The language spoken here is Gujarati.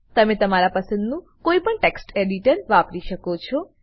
તમે તમારા પસંદનું કોઈપણ ટેક્સ્ટ એડીટર વાપરી શકો છો